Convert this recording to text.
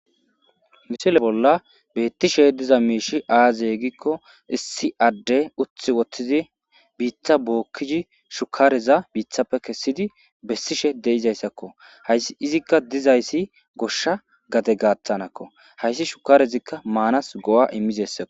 Ha misile bolla beettishe diza miishshi aaze giza giikko issi adde uttis woththidi biitta bookkidi shukkareza biittappe kessidi bessishe de'izayssako. Izikka dizayssi goshsha gade gaaththanakko. Hayssi shukkarezi maanas go'a immizayssako.